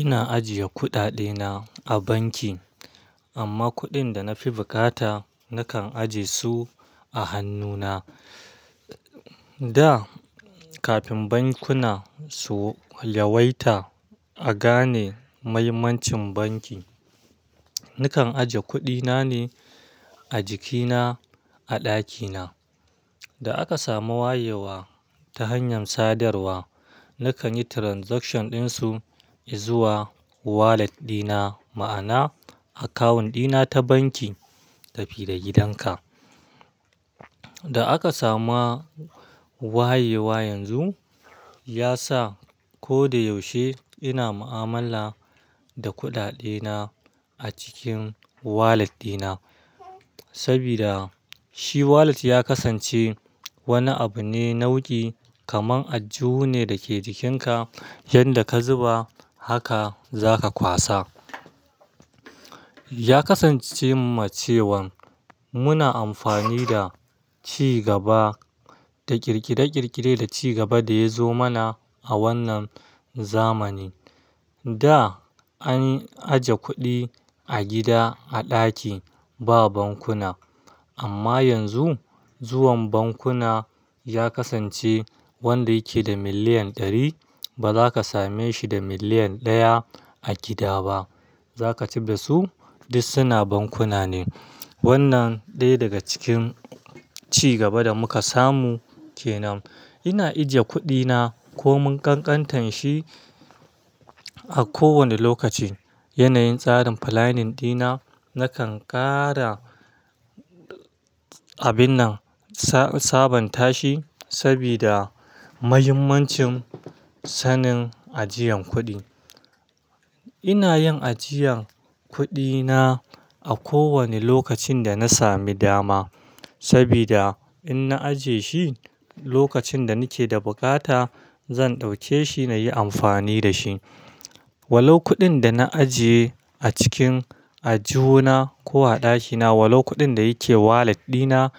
Ina ajiye kuɗaɗe na a banki amma kuɗin da na fi bukata nakan ajiye su a hannuna. Da kafin bankuna su yawaita a gane muhimmancin banki, nakan ajiye kuɗi na ne a jikina a ɗakina. Da aka samu wayewa ta hanyar sadarwa, nakan yi transaction ɗin su izuwa wallet ɗina ma'ana akawun ɗina ta banki tafi da gidanka. Da aka samu wayewa yanzu, ya sa ko da yaushe ina mu'amala da kuɗaɗe na a cikin wallet ɗina sabida shi wallet ya kasance wani abu ne nauƙi kaman ajuhu ne da ke jikinka yanda ka zuba haka za ka kwasa. Ya kasance ma cewan muna amfani da cigaba da ƙirƙire-ƙirƙire da cigaba da ya zo mana a wannan zamani. Da an aje kuɗi a gida a ɗaki ba bankuna amma yanzu zuwan bankuna ya kasance wanda yake da miliyan ɗari ba za ka same shi da miliyan ɗaya a gida ba. Za ka cid da su duk suna bankuna ne. Wannan ɗaya daga cikin cigaba da muka samu ke nan. Ina ajiye kuɗi na ko mun kankantan shi a kowane lokaci. Yanayin tsarin planning ɗina nakan ƙara abin nan sabon tashi sabida muhimmancin sanin ajiyan kuɗi. Ina yin ajiyan kuɗi na a ko wane lokacin da na sami dama sabida in na ajiye shi lokacin da nake da bukata zan ɗauke shi na yi amfani da shi. Wali kuɗin da na ajiye a cikin ajuhu na ko a ɗakina, walo kuɗin da yake wallet ɗina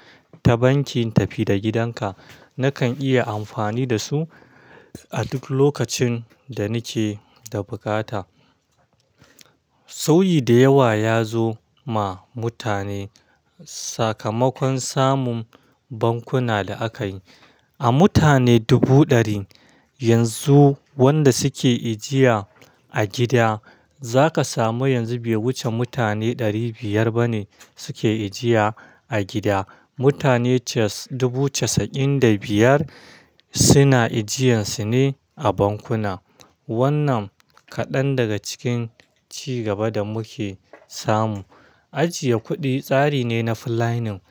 ta bankin tafi da gidanka nakan iya amfani da su a duk lokacin da nake da bukata. Sauyi da yawa ya zo ma mutane. Sakamakon samun bankuna da aka yi. A mutane dubu ɗari yanzu wanda suke ajiya a gida za ka samu yanzu bai wuce mutane ɗari biyar ba ne suke ajiya a gida. Mutane cas-- dubu casa'in da biyar suna ajiyan su ne a bankuna. Wannan kaɗan daga cikin cigaba da muke samu. Ajiye kuɗi tsari ne na planning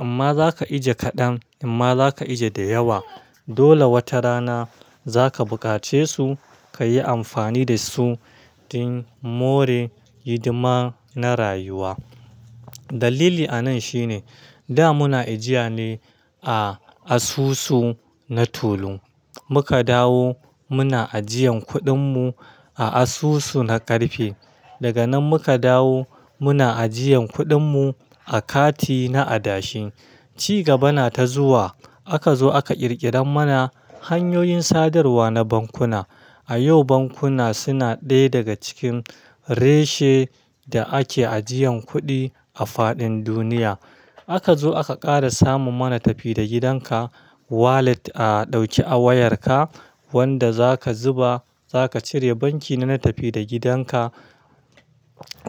amma za ka ajiye kaɗan amma za ka ajiye da yawa. Dole wata rana za ka buƙace su ka yi amfani da su don more hidima na rayuwa. Dalili a nan shine da muna ajiya ne a asusu na tulu. Muka dawo muna ajiyan kuɗin mu a asusu na ƙarfe. Daga nan muka dawo muna ajiyan kuɗin mu a kati na adashi. Cigaba na ta zuwa aka zo aka ƙirƙira mana hanyoyin sadarwa na bankuna. A yau bankuna suna ɗaya daga cikin reshe da ake ajiyan kuɗi a faɗin duniya. Aka zo aka ƙara samu mana tafi da gidanka wallet a ɗauki a wayarka wanda za ka zuba za ka cire banki na na tafi da gidanka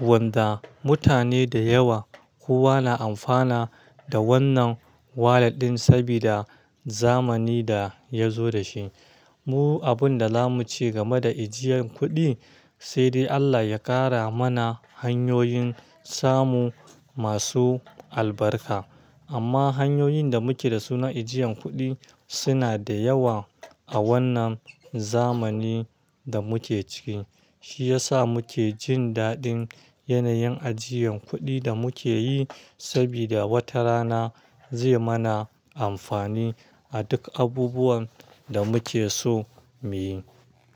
wanda mutane da yawa kowa na amfana da wannan wallet ɗin sabida zamani da ya zo da shi. Mu abun da zamu ce game da ajiyan kuɗi sai dai Allah ya ƙara mana hanyoyin samu masu albarka amma hanyoyin da muke dasu na ajiyan kuɗi suna da yawa a wannan zamani da muke ciki. Shi ya sa muke jin daɗin yanayin ajiyan kuɗi da muke yi sabida wata rana zai mana amfani a duk abubuwan da muke so mu yi.